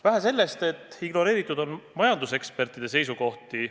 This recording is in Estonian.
Vähe sellest, et ignoreeritud on majandusekspertide seisukohti.